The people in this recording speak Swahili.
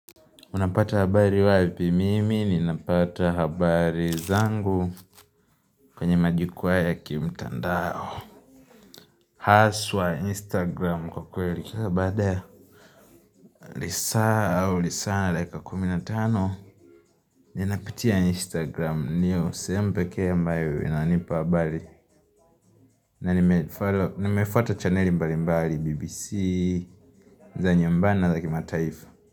Unapata habari wapi? Mimi ninapata habari zangu kwenye majukwaa ya kimtandao Haswa instagram kwa kweli, baada ya lisaa au lisa dakika kumi na tano, Ninapitia instagram ndiyo sehemu pekee ambayo inanipa habari, na nimefollow, nimefuata chaneli mbali mbali, BBC, za nyumbani na za kimataifa.